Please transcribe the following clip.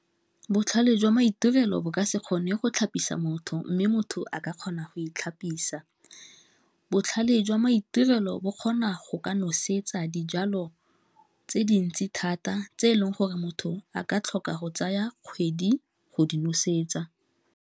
Botlhale jwa maitirelo bo ka se kgone go itlhapisa motho mme motho a ka kgona go itlhapisa, botlhale jwa maitirelo bo kgona go ka nosetsa dijalo tse dintsi thata tse eleng gore motho a ka tlhoka go tsaya kgwedi go di nosetsa.